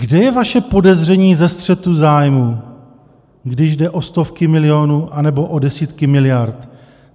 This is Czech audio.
Kde je vaše podezření ze střetu zájmů, když jde o stovky milionů anebo o desítky miliard?